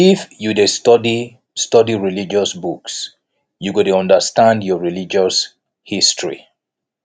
if you dey study study religious books you go dey understand your religious history